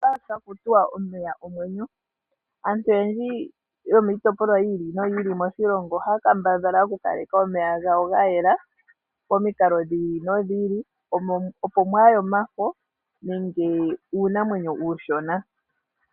Ohaku tiwa omeya ogo omwenyo. Aantu oyendji yomiitopolwa yi ili no yi ili moshilongo ohaya kambadhala oku kaleka omeya gawo ga yela momikalo dhi ili no dhi ili opo mwaagwile iiyagaya uundombe ihaye wu siikile moonete.